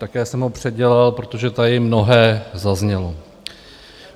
Také jsem ho předělal, protože tady mnohé zaznělo.